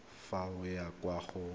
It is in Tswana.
fa o ya kwa go